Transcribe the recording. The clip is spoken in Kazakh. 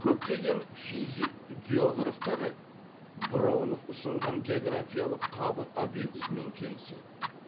көптеген физик географтар броунов ұсынған географиялық қабық обьектісімен келіседі